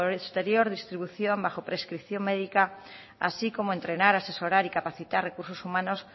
posterior distribución bajo prescripción médica así como entrenar asesorar y capacitar recursos humanos